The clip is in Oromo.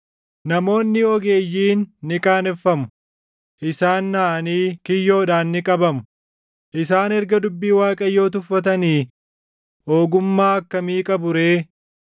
Namoonni ogeeyyiin ni qaaneffamu; isaan naʼanii kiyyoodhaan ni qabamu; isaan erga dubbii Waaqayyoo tuffatanii, ogummaa akkamii qabu ree?